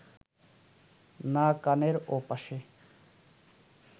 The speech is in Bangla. না কানের ওপাশে